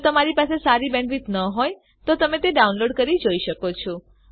જો તમારી બેન્ડવિડ્થ સારી ન હોય તો તમે ડાઉનલોડ કરી તે જોઈ શકો છો